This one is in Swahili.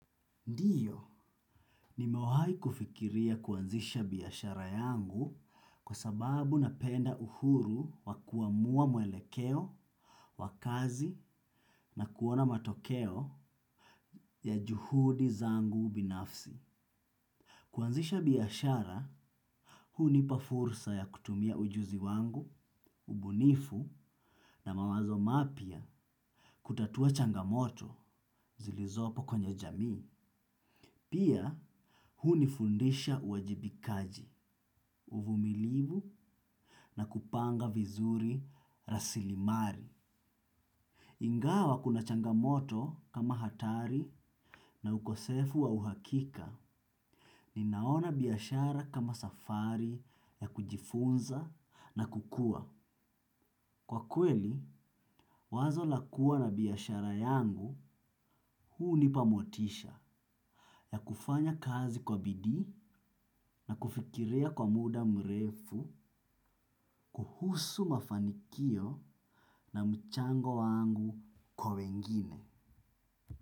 Ndiyo, nimewahi kufikiria kuanzisha biashara yangu kwa sababu napenda uhuru wa kuamua mwelekeo, wa kazi na kuona matokeo ya juhudi zangu binafsi. Kuanzisha biashara, hunipa fursa ya kutumia ujuzi wangu, ubunifu na mawazo mapya kutatua changamoto zilizopo kwenye jamii. Pia, hunifundisha uwajibikaji, uvumilivu na kupanga vizuri rasilimali. Ingawa kuna changamoto kama hatari na ukosefu wa uhakika ni naona biashara kama safari ya kujifunza na kukua. Kwa kweli, wazo la kua na biashara yangu hunipa motisha ya kufanya kazi kwa bidii na kufikiria kwa muda mrefu kuhusu mafanikio na mchango wangu kwa wengine.